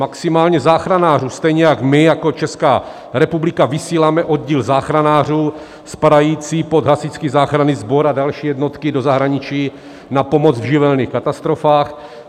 Maximálně záchranářů, stejně jako my jako Česká republika vysíláme oddíl záchranářů spadající pod Hasičský záchranný sbor a další jednotky do zahraničí na pomoc v živelních katastrofách.